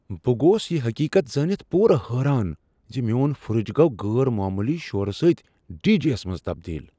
بہٕ گوس یہ حقیقت زٲنِتھ پوُرٕ حیران زِ میون فرٛج گوٚو غیر معمولی شورٕ سۭتہِ ڈی جے منٛز تبدیل